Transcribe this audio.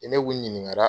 Ni ne kun ɲininka